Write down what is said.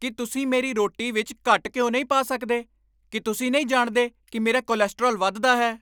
ਕੀ ਤੁਸੀਂ ਮੇਰੀ ਰੋਟੀ ਵਿੱਚ ਘੱਟ ਘਿਓ ਨਹੀਂ ਪਾ ਸਕਦੇ? ਕੀ ਤੁਸੀਂ ਨਹੀਂ ਜਾਣਦੇ ਕਿ ਮੇਰਾ ਕੋਲੇਸਟ੍ਰੋਲ ਵੱਧਦਾ ਹੈ?